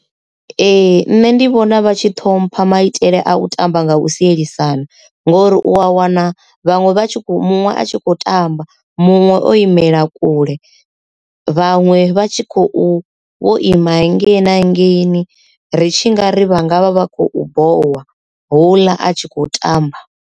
Ee nṋe ndi vhona vha tshi ṱhompha maitele a u tamba nga u sielisana ngori u a wana vhaṅwe vhatshi kho muṅwe a tshi kho tamba muṅwe o imela kule vhaṅwe vha tshi khou vho ima hengei na hangeini ri tshi nga ri vha ngavha vha khou bohwa hula a tshi khou tamba.